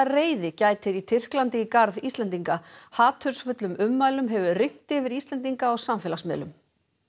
reiði gætir á Tyrklandi í garð Íslendinga hatursfullum ummælum hefur ringt yfir Íslendinga á samfélagsmiðlum